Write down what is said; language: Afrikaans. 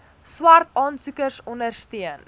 swart aansoekers ondersteun